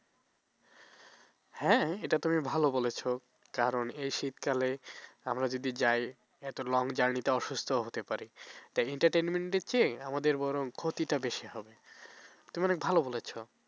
হ্যাঁ এটা তুমি ভালো বলেছ কারণ এই শীতকালে আমরা যদি যাই এত long jurney অসুস্থও হতে পারি তাই entertainment এর চেয়ে আমাদের বরণ ক্ষতিটা বেশি হবে তুমি অনেক ভালো বলেছ